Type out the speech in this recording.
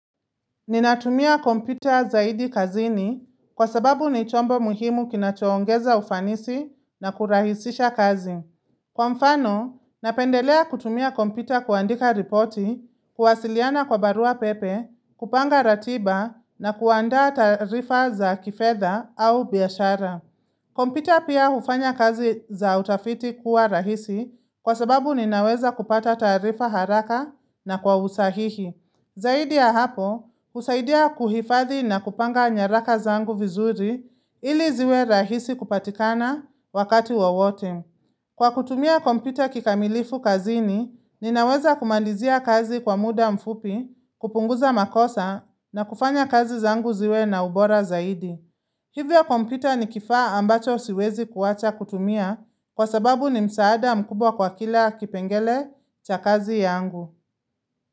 Ninatumia kompyuta zaidi kazini kwa sababu ni chombo muhimu kina choongeza ufanisi na kurahisisha kazi. Kwa mfano, napendelea kutumia kompyuta kuandika ripoti, kuwasiliana kwa barua pepe, kupanga ratiba na kuanda taarifa za kifedha au biashara. Kompyuta pia ufanya kazi za utafiti kuwa rahisi kwa sababu ninaweza kupata taarifa haraka na kwa usahihi. Zaidi ya hapo, husaidia kuhifadhi na kupanga nyaraka zangu vizuri ili ziwe rahisi kupatikana wakati wowote. Kwa kutumia kompyuta kikamilifu kazini, ninaweza kumalizia kazi kwa muda mfupi, kupunguza makosa na kufanya kazi zangu ziwe na ubora zaidi. Hivyo kompyuta ni kifaa ambacho siwezi kuacha kutumia kwa sababu ni msaada mkubwa kwa kila kipengele cha kazi yangu.